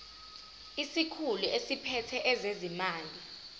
isikhulu esiphethe ezezimali